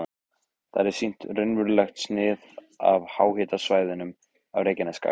Þar er sýnt raunverulegt snið af háhitasvæðunum á Reykjanesskaga.